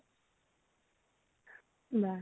লা